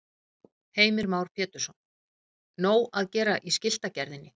Heimir Már Pétursson: Nóg að gera í skiltagerðinni?